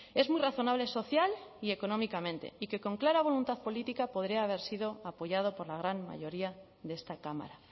es muy razonable social y económicamente y que con clara voluntad política podría haber sido apoyado por la gran mayoría de esta cámara